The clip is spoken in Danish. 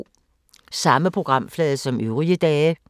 Samme programflade som øvrige dage